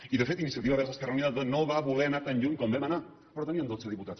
i de fet iniciativa verds esquerra unida no va voler anar tan lluny com vam anar però teníem dotze diputats